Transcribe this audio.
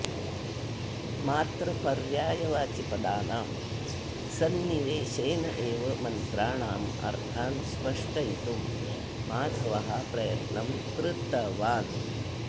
मात्रपर्यायवाचिपदानां सन्निवेशेनैव मन्त्राणाम् अर्थान् स्पष्टयितुं माधवः प्रयत्नं कृतवान्